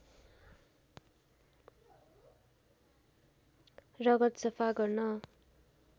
रगत सफा गर्न